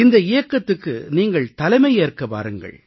இந்த இயக்கத்துக்கு நீங்கள் தலைமையேற்க வாருங்கள்